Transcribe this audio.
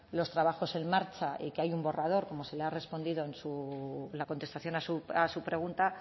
los trabajos en marcha y que hay un borrador como se le ha respondido en la contestación a su pregunta